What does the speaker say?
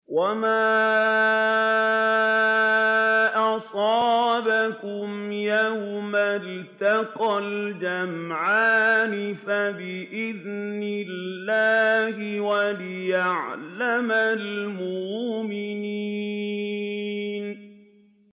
وَمَا أَصَابَكُمْ يَوْمَ الْتَقَى الْجَمْعَانِ فَبِإِذْنِ اللَّهِ وَلِيَعْلَمَ الْمُؤْمِنِينَ